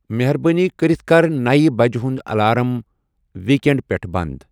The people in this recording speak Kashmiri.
مہربٲنی کٔرِتھ کَر نَیہِ بجہِ ہُنٛد الارم ویٖکٮ۪نٛڈ پٮ۪ٹھ بنٛد۔